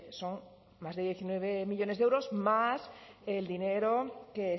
son más de diecinueve millónes de euros más el dinero que